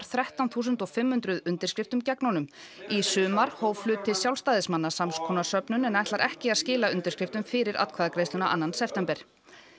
þrettán þúsund fimm hundruð undirskriftum gegn honum í sumar hóf hluti Sjálfstæðismanna sams konar söfnun en ætlar ekki að skila undirskriftum fyrir atkvæðagreiðsluna annan september